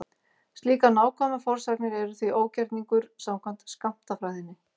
Slíkar nákvæmar forsagnir eru því ógerningur samkvæmt skammtafræðinni.